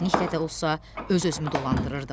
Çətinliklə də olsa öz-özümü dolandırırdım.